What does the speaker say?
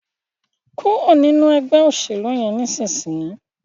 kúrò nínú Ẹgbẹ́ òṣèlú yén nísìsiyìí!